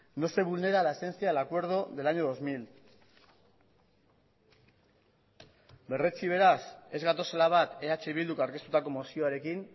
no se vulnera la esencia del acuerdo del año dos mil berretsi beraz ez gatozela bat eh bilduk aurkeztutako mozioarekin